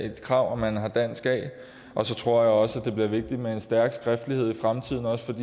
et krav at man har dansk a så tror jeg også at det bliver vigtigt med en stærk skriftlighed i fremtiden også